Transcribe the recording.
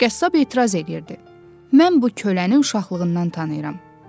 Qəssab etiraz eləyirdi: “Mən bu köləni uşaqlığından tanıyıram.